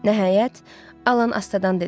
Nəhayət, Alan astadan dedi: